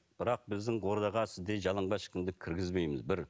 бірақ біздің ордаға сіздей жалаңбас ешкімді кіргізбейміз бір